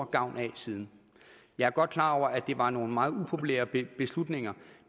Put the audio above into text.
gavn af siden jeg er godt klar over at det var nogle meget upopulære beslutninger